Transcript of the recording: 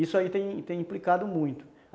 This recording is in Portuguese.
Isso aí tem tem implicado muito.